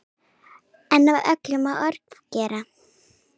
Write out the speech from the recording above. En öllu má ofgera.